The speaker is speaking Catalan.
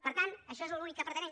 per tant això és l’únic que pretenem